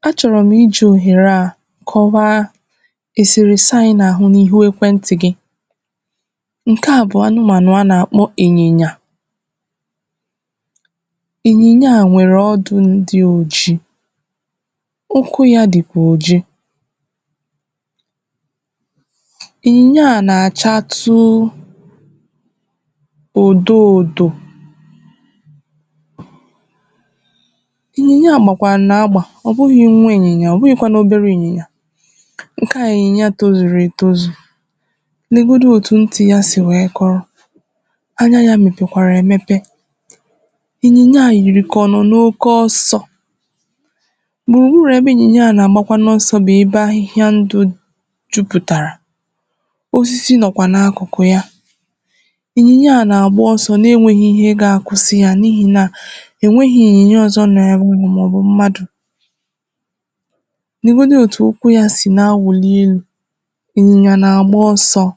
N’otù ụtụtụ̀ nkè dị̀ juù n’òbodò anyị̀ Anyanwụ̀ nọ̀ na-achà nwayọ̀ nwayọ̀ n’elù ugbò ahịhịà burù ibù Ịnyị̀nyà nkè a gụ̀rụ̀ odogwù gùzorò n’etitì ugbo ahụ̀ na-atà ahị̀hịà ọhụrụ̀ nkè jurù n’ogigè ugbò ahụ̀ Odogwù bụ̀ ịnyị̀nyà nkè dedè Okekè onyè na-agba mbọ̀ n’ilekọ̀tà yà nkè ọmà Odogwù taa ị ga-enwetà nrì zurù ezù n’ihì nà ị rụòlà ọrụ̀ nkè ọmà n’ụbọchị̀ garà agà Odogwù kwùgiderè werè isi yà na-atụgharị̀ n’aka nrì manà aka ekpè n’obì an̄ụ̀rị̀ M̄gbè o gerè ntị̀ n’akụ̀kụ̀ ugbò ahụ̀ ọ nụ̀rụ̀ m̄kpọtụ̀ ụmụaka n’abịà sitē n’akụ̀kụ̀ Otù n’imè hà nkè ahà yà bụ̀ Ifeanyị̀ Um tirì m̄kpù na-asị̀ lee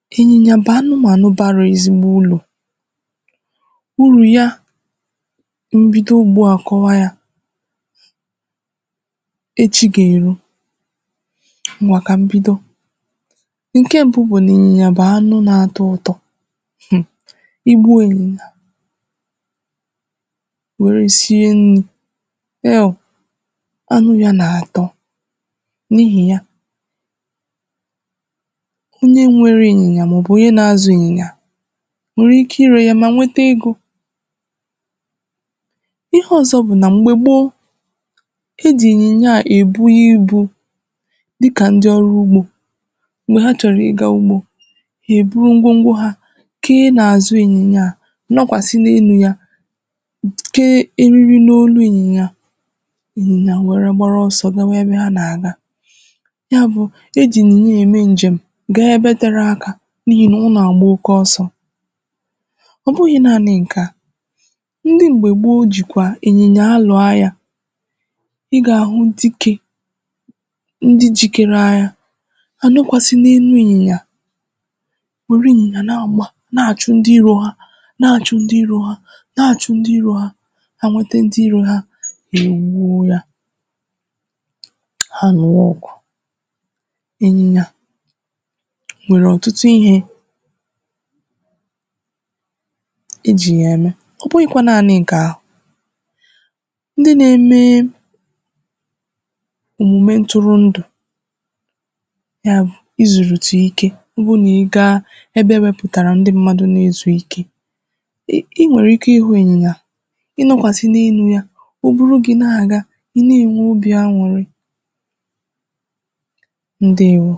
odogwù ịnyị̀nyà sirì ike kà ọ na-atà ahị̀hịà ọhụrụ̀ Ụmụ̀aka niilè ahụ̀ gbarà odogwù gburùgburù nọ̀ na-achị̀ ọchị̀ na-elè yà anya dịkà ọ na-atà nrì yà nwayọ̀ Ọ nọ̀ na-etitì ugbo ahịhịà nkè ndụ̀ jurù ebe efùrù dị̀ iche ichè na-achà n’efùfè jirì nwayọ̀ na-efè Dedè Okekè onyè maarà m̄kpà ịhụ̀tà anụ̀mànụ̀ n’anya gwàkwàrà Ịnyị̀nyà abụghị̀ naanị̀ anụ̀ emèberè màkà ibu ibù Hà bụ̀ ndị̀ enyì anyị̀ na-enyerè aka n’ọrụ̀ ugbò na-emè kà ndụ̀ anyị̀ dịkwò mfè Kà ọrụ̀rụ̀ ogè m̄gbedè dịkà anyanwụ̀ jirì nwayọ̀ na-agbàdà Odogwù nọ̀dụ̀rụ̀ àlà n’ugbò ahịhịà ahụ̀ n’afọ̀ ojùjù wee dọ̀bà isi yà n’otù akụ̀ na-enwè obì utọ̀ màkà nrì yà Na-ezieokwù ịnyị̀nyà abụghị̀ naanị̀ anụ̀mànụ̀ ọ bụ̀ enyì onyè na-elekotà yà nà onyè na-enyerè yà aka